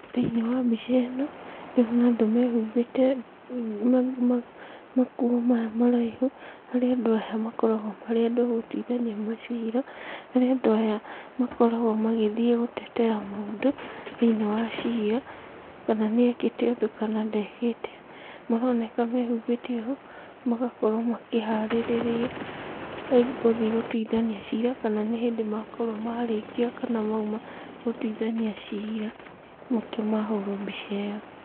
Thĩinĩ wa mbica ĩno ndĩrona andũ mehumbĩte makuo maya maraihu, harĩa andũ aya makoragwo marĩ andũ a gũtuithania macira, harĩa andũ aya makoragwo magĩthiĩ gũtetera mũndũ thĩinĩ wa cira kana nĩekĩte ũndũ kana ndekĩte. Maroneka me humbĩte ũũ magakorwo makĩharĩrĩria gũthiĩ gũtuithania cira, kana nĩ hĩndĩ makorwo marĩkia kana mauma gũtuithania nĩkĩo mahũrwo mbica ĩyo.